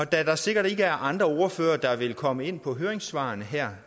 da der sikkert ikke er andre ordførere der vil komme ind på høringssvarene her